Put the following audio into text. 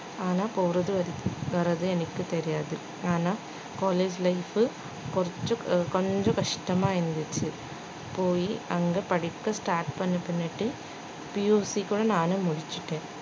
ஆனா போறது வர்ற~ வர்றது எனக்கு தெரியாது ஆனா college life உ கொஞ்சம் கொஞ்சம் கஷ்டமா இருந்துச்சு போயி அங்க படிக்க start பண்ணி~ பண்ணிட்டு நானு முடிச்சுட்டேன்